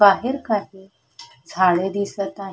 बाहेर काही झाडे दिसत आ--